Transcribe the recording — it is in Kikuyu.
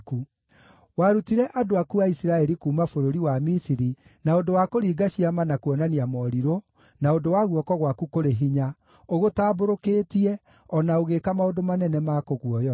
Warutire andũ aku a Isiraeli kuuma bũrũri wa Misiri na ũndũ wa kũringa ciama na kuonania morirũ, na ũndũ wa guoko gwaku kũrĩ hinya, ũgũtambũrũkĩtie, o na ũgĩĩka maũndũ manene ma kũguoyohia.